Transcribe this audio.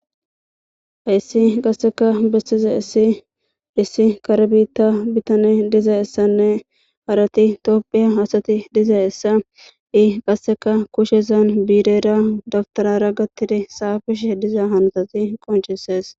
Hayssi qasseka bessize issi issi kare biitta bitane dizayssanne harati topphiya asati dizayssa i qasseka kushezan biirera dabtarara gattidi saafishe diza hanotati qonchisees.